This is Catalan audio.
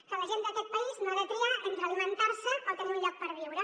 que la gent d’aquest país no ha de triar entre alimentar se o tenir un lloc per viure